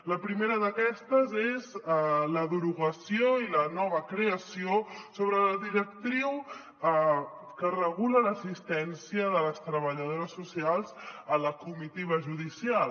la primera d’aquestes és la derogació i la nova creació sobre la directriu que regula l’assistència de les treballadores socials a la comitiva judicial